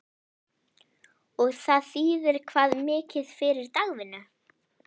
Og það þýðir hvað mikið fyrir dagvinnu?